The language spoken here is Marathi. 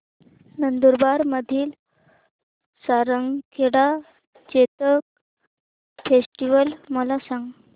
नंदुरबार मधील सारंगखेडा चेतक फेस्टीवल मला सांग